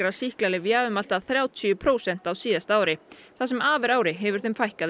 sýklalyfja um allt að þrjátíu prósent á síðasta ári það sem af er ári hefur þeim fækkað um